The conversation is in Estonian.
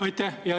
Aitäh!